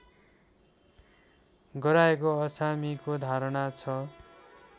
गराएको अछामीको धारणा छ